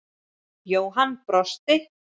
Jóhann brosti.